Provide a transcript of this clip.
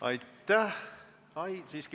Aitäh!